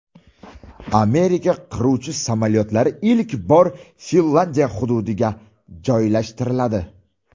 Amerika qiruvchi samolyotlari ilk bor Finlyandiya hududiga joylashtiriladi.